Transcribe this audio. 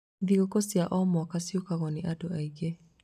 Thigũkũ cia o mwaka ciũkagwo nĩ andũ aingĩ.